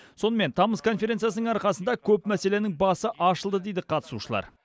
сонымен тамыз конференциясының арқасында көп мәселенің басы ашылды дейді қатысушылар